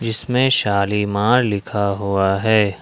इसमें शालीमार लिखा हुआ है।